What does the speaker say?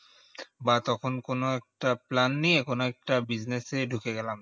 বা তখন কোনো একটা plan নিয়ে কোনো একটা business এ ঢুকে গেলাম